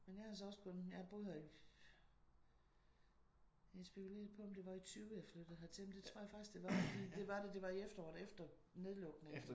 Men jeg har så også kun jeg har boet her i jeg spekulerede på om det var i 20 jeg flyttede hertil. Men det tror jeg faktisk det var. Fordi det var det det var i efteråret efter nedlukningen